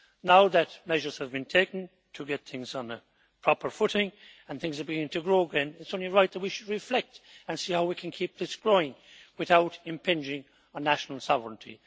Now that measures have been taken to get things on a proper footing and things are beginning to grow again, it is only right that we should reflect and see how we can keep this growing without impinging on national sovereignty.